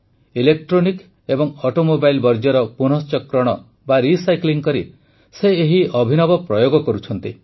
electronic ଏବଂ Automobileର ବର୍ଜ୍ୟର ପୁନଃଚକ୍ରଣ ବା ରିସାଇକ୍ଲିଂ କରି ସେ ଏହି ଅଭିନବ ପ୍ରୟୋଗ କରୁଛନ୍ତି